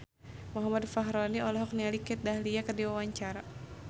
Muhammad Fachroni olohok ningali Kat Dahlia keur diwawancara